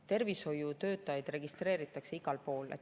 Tervishoiutöötajaid registreeritakse igal pool.